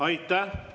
Aitäh!